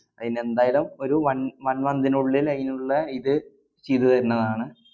അയിനെന്തായാലും ഒരു one one month നുള്ളില്‍ അയിനുള്ള ഇത് ചെയ്തുതരുന്നതാണ്.